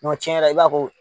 cɛn yɛrɛ la i b'a ko